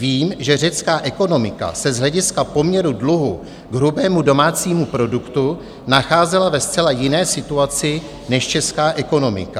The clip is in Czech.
Vím, že řecká ekonomika se z hlediska poměru dluhu k hrubému domácímu produktu nacházela ve zcela jiné situaci než česká ekonomika.